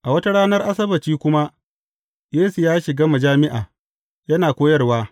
A wata ranar Asabbaci kuma, Yesu ya shiga majami’a yana koyarwa.